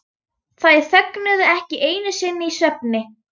Þær þögnuðu ekki einu sinni í svefni.